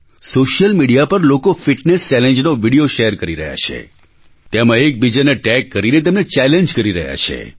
social media પર લોકો fitness ચેલેન્જનો વિડિયો શૅર કરી રહ્યા છે તેમાં એક બીજાને ટૅગ કરીને તેમને ચૅલેન્જ કરી રહ્યા છે